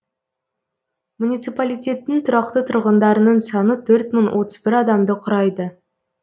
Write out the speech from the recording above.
муниципалитеттің тұрақты тұрғындарының саны төрт мың отыз бір адамды құрайды